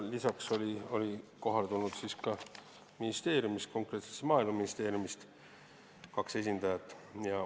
Lisaks oli kohale tulnud Maaeluministeeriumi kaks esindajat.